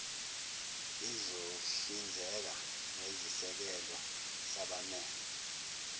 izohlinzeka ngesisekelo sabamele